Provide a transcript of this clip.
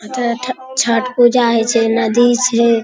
छठ पूजा हइ छे नदी छे |